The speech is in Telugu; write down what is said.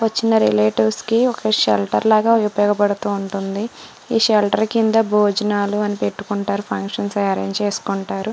వచ్చిన రిలేట్విస్ కి ఒక చిన్న షెల్టర్ లాగా ఉపయోగ పడుతుంది. ఈ షెల్టర్ కిందె బోజనాలు అవి పెట్టుకుంటారు ఫంష్స అవి అరేంజ్ చేసుకుంటారు.